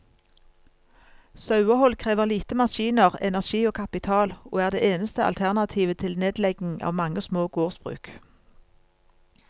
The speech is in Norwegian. Sauehold krever lite maskiner, energi og kapital, og er det eneste alternativet til nedlegging av mange små gårdsbruk.